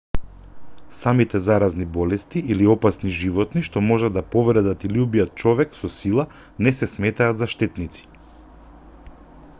самите заразни болести или опасни животни што можат да повредат или убијат човек со сила не се сметаат за штетници